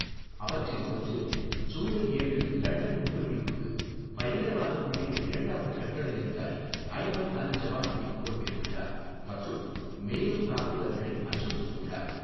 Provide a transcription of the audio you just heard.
அவற்றில் ஒன்றில், ஜூலை ஏழு லண்டன் குண்டுவெடிப்புக்கு பயங்கரவாதக் குழுவின் இரண்டாவது கட்டளை அதிகாரி அய்மன் அல் ஜவாஹிரி பொறுப்பேற்றுள்ளார் மற்றும் மேலும் தாக்குதல்களை அச்சுறுத்தியுள்ளார்.